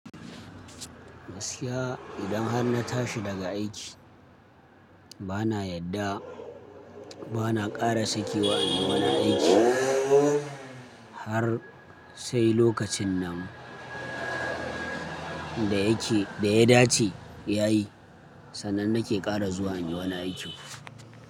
Gaskiya idan har na tashi daga aiki bana yadda bana ƙara sakewa in yi wani aiki har sai lokacin nan da yake da ya dace ya yi sannan nake ƙara zuwa in yi wani aiki.